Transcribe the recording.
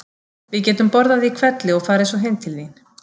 Við getum borðað í hvelli og farið svo heim til þín.